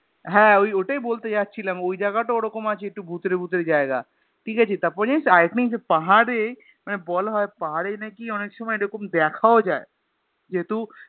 হ্যাঁ ওই ওটাই বলতে যাচ্ছিলাম ওই জাগা টা ওরকম আছে একটু ভুতুড়ে ভুতুড়ে জায়গা ঠিক আছে তার পরে জানিস তো আর একটা জিনিস পাহাড়ে মানে বলা হয় পাহাড়ে নাকি অনেক সময় এরকম দেখাও যায় যেহুতু